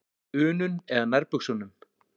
unum eða nærbuxunum.